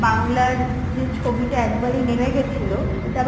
বাংলার যে ছবিটা একবার এই নেমে গেছিল ওইটা আবার